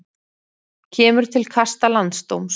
Kemur til kasta landsdóms